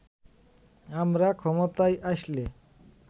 আমরা ক্ষমতায় আসলে